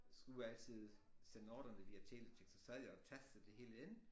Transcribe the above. Skulle altid sende ordrene via telex og så sad jeg og tastede det hele ind